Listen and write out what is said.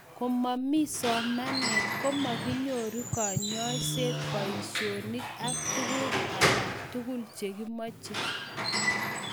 Komomii somanet komakinyoru kanyoiset, boishonik ak tukul alak tukul che kimoche